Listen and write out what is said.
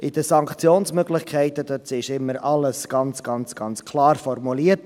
In den Sanktionsmöglichkeiten ist immer alles ganz, ganz, ganz klar formuliert.